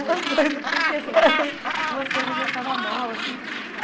Umas coisas... Umas coisas que eu ficava mal, assim.